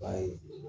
Ba ye